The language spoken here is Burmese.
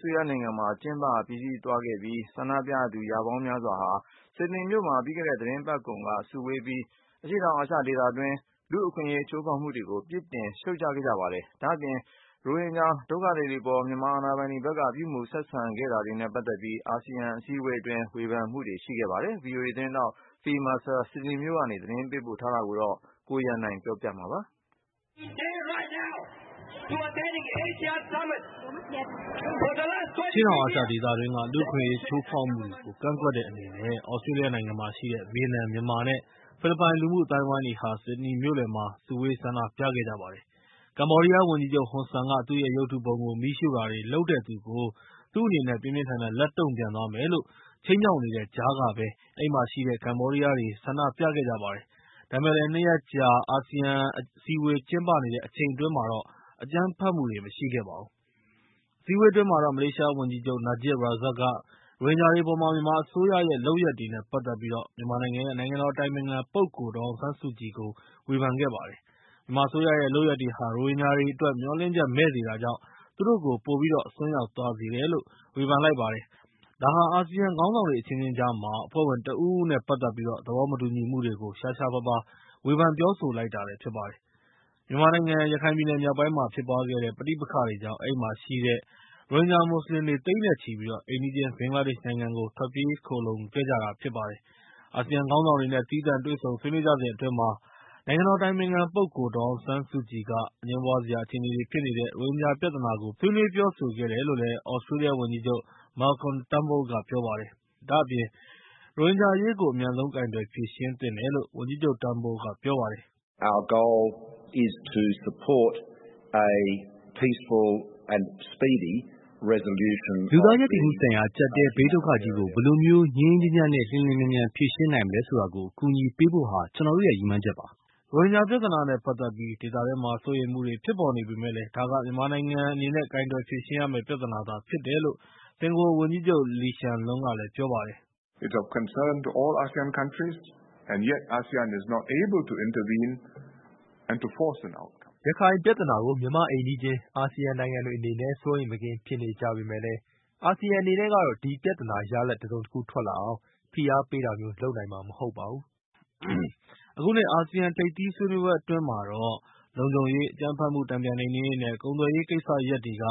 စတြေးလျနိုင်ငံမှာ ကျင်းပပြီးစီးသွားခဲ့ပြီး၊ ဆန္ဒပြသူရာပေါင်းများစွာဟာ ဆစ်ဒနီမြို့မှာ ပြီးခဲ့တဲ့ သီတင်းပတ်ကုန်က စုဝေးပြီး အရှေ့တောင်အာရှဒေသတွင်းက လူ့အခွင့်အရေးချိုးဖောက်မှုတွေကို ပြစ်တင်ရှုတ်ချခဲ့ကြပါတယ်။ ဒါ့အပြင် ရိုဟင်ဂျာတွေအပေါ် မြန်မာအာဏာပိုင်တွေဘက်က ပြုမူဆက်ဆံခဲ့တာတွေနဲ့ ပတ်သက်ပြီး၊ အာဆီယံအစည်းအဝေးအတွင်း ဝေဖန်မှုတွေလည်းရှိခဲ့ပါတယ်။ ဗွီအိုအေသတင်းထောက် Phil Mercer ဆစ်ဒနီမြို့ကနေ သတင်းပေးပို့ထားတာကို ကိုရန်နိုင်က ပြောပြပေးမှာဖြစ်ပါတယ်။ အရှေ့တောင်အာရှဒေသတွင်းက လူ့အခွင့်အရေးချိုးဖောက်မှုတွေကို ကန့်ကွက်တဲ့အနေနဲ့ သြစတြေးလျနိုင်ငံမှာရှိတဲ့ ဗီယက်နမ်၊ မြန်မာ နဲ့ ဖိလစ်ပိုင်လူမှုအသိုင်းအဝိုင်းတွေဟာ ဆစ်ဒနီမြို့လယ်မှာ စုဝေးခဲ့ကြပါတယ်။ ကမ္ဘောဒီးယားဝန်ကြီးချုပ်ဟွန်ဆန်က ၊ သူ့ရဲ့ ရုပ်တုပုံကို မီးရှို့တာတွေလုပ်တဲ့သူကို သူ့ဘက်က ပြင်းပြင်းထန်ထန်လက်တုံ့ပြန်သွားမယ်လို့ ခြိမ်းခြောက်နေတဲ့ကြားကပဲ အဲဒီမှာရှိတဲ့ ကမ္ဘောဒီးယားတွေက ဆန္ဒပြခဲ့ကြပါတယ်။ ဒါပေမဲ့လည်း ၂ ရက်ကြာ ကျင်းပခဲ့တဲ့ ဒီအစည်းအဝေးအတွင်း အကြမ်းဖက်မှုတွေတော့ မရှိခဲ့ပါဘူး။ အစည်းအဝေးအတွင်းမှာတော့ မလေးရှားဝန်ကြီးချုပ် နာဂျစ်ရာဇက်က ရိုဟင်ဂျာတွေအပေါ် မြန်မာအစိုးရရဲ့လုပ်ရပ်တွေနဲ့ ပတ်သက်ပြီး မြန်မာနိုင်ငံရဲ့ နိုင်ငံတော်အတိုင်ပင်ခံပုဂ္ဂိုလ်ဒေါ်အောင်ဆန်းစုကြည်ကို ဝေဖန်ခဲ့ပါတယ်။ မြန်မာအစိုးရရဲ့လုပ်ရပ်တွေဟာ ရိုဟင်ဂျာတွေအတွက် မျှော်လင့်ချက်မဲ့စေတာကြောင့် သူတို့ကို ပိုပြီးတော့အစွန်းရောက်သွားစေတယ်လို့ ဝေဖန်လိုက်ပါတယ်။ ဒါဟာ အာဆီယံခေါင်းဆောင်တွေအချင်းချင်းကြား အဖွဲ့ဝင်တဦးဦးနဲ့ ပတ်သက်ပြီး သဘောမတူညီမှုတွေကို ရှားရှားပါးပါး ဝေဖန်ပြောဆိုလိုက်တာလည်းဖြစ်ပါတယ်။ မြန်မာနိုင်ငံရခိုင်ပြည်နယ်မြောက်ပိုင်းမှာဖြစ်ပွားခဲ့တဲ့ ပဋိပက္ခတွေကြောင့် အဲဒီမှာရှိတဲ့ ရိုဟင်ဂျာမွတ်စလင်တွေ သိန်းနဲ့ချီပြီး အိမ်နီးချင်းဘင်္ဂလားဒေ့ရှ်နိုင်ငံကို ထွက်ပြေးခိုလှုံခဲ့ကြပါတယ်။ အာဆီယံခေါင်းဆောင်တွေနဲ့ သီးသန့်တွေ့ဆုံဆွေးနွေးကြစဉ်အတွင်း ဒေါ်အောင်ဆန်းစုကြည်က အငြင်းပွားစရာအခြေအနေတွေဖြစ်နေတဲ့ ရိုဟင်ဂျာပြဿနာကို ပြောကြားသွားတယ်လို့ သြစတြေးလျဝန်ကြီးချုပ် Malcolm Turnbull က ပြောပါတယ်။ ရိုဟင်ဂျာအရေးကို အမြန်ဆုံးကိုင်တွယ်ဖြေရှင်းသင့်တယ်လို့ ဝန်ကြီးချုပ် Turnbull က ပြောပါတယ်။ "လူသားရပ်တည်မှုဆိုင်ရာ အကြပ်အတည်းဘေးဒုက္ခသည်ကြီးကို ဘယ်လိုမျိုး ငြိမ်းငြိမ်းချမ်းချမ်းနဲ့ လျှင်လျှင်မြန်မြန်ဖြေရှင်းနိုင်မလဲဆိုတာကို အကူအညီပေးဖို့ဟာ ကျနော်တို့ ရည်မှန်းချက်ပါ။” ရိုဟင်ဂျာပြဿနာနဲ့ ပတ်သက်ပြီး ဒေသတွင်းမှာစိုးရိမ်မှုတွေဖြစ်ပေါ်နေပေမယ့်လည်း၊ ဒါက မြန်မာနိုင်ငံက ကိုင်တွယ်ဖြေရှင်းရမယ့် ပြဿနာသာဖြစ်တယ်လို့ စင်ကာပူဝန်ကြီးချုပ် လီရှန်လွန်းက ပြောပါတယ်။ "ရခိုင်ပြဿနာကို မြန်မာ့အိမ်နီးချင်း အာဆီယံနိုင်ငံတွေအနေနဲ့ စိုးရိမ်မကင်းဖြစ်နေကြပေမယ့်လည်း၊ အာဆီယံအနေနဲ့ကတော့ ဒီပြဿနာ ရလဒ် တစုံတခုထွက်လာအောင် ဖိအားပေးတာမျိုး လုပ်နိုင်မှာမဟုတ်ဘူး။" အခုနှစ် အာဆီယံထိပ်သီးညီလာခံအတွင်းမှာတော့ လုံခြုံရေး၊ အကြမ်းဖက်မှုတန်ပြန်နှိမ်နှင်းရေး နဲ့ ကုန်သွယ်ရေးကိစ္စရပ်တွေက